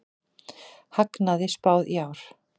Hagnaði spáð í ár